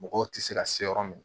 Mɔgɔw tɛ se ka se yɔrɔ min na